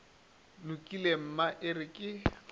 lokile mma e re ke